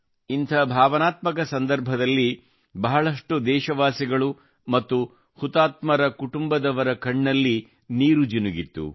ಇಂಥ ಭಾವನಾತ್ಮಕ ಸಂದರ್ಭದಲ್ಲಿ ಬಹಳಷ್ಟು ದೇಶವಾಸಿಗಳು ಮತ್ತು ಹುತಾತ್ಮ ಕುಟುಂಬದವರ ಕಣ್ಣಲ್ಲಿ ನೀರು ಜಿನುಗಿತ್ತು